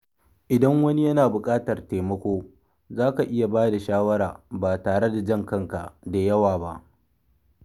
Idan wani yana bukatar taimako, zaka iya ba da shawara ba tare da jan kanka da yawa ba.